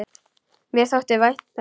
Mér þótti vænt um það.